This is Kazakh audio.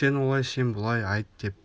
сен олай сен бұлай айт деп